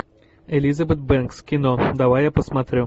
элизабет бэнкс кино давай я посмотрю